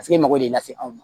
Paseke e mago bɛ lase anw ma